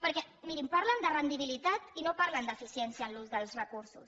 perquè mirin parlen de rendibilitat i no parlen d’eficiència en l’ús dels recursos